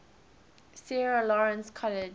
sarah lawrence college